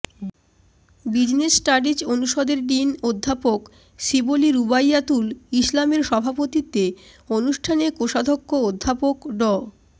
business studies অনুষদের dean অধ্যাপক শিবলী রুবাইয়াতুল ইসলামের সভাপতিত্বে অনুষ্ঠানে কোষাধ্যক্ষ অধ্যাপক ড